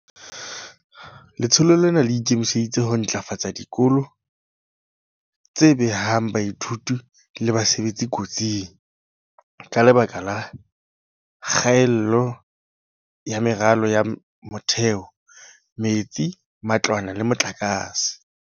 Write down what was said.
Letsholo lena le ikemiseditse ho ntlafatsa dikolo tse behang baithuti le basebetsi kotsing, ka lebaka la kgaello ya meralo ya motheo, metsi, matlwana le motlakase.